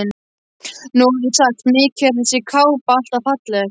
Nú orðið er sagt: Mikið er þessi kápa alltaf falleg